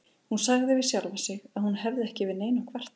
Hún sagði við sjálfa sig að hún hefði ekki yfir neinu að kvarta.